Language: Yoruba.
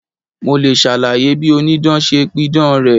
Mo le ṣàlàyé bí Onídán ṣe pidàn rẹ̀.